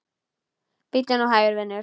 Bíddu nú hægur, vinur.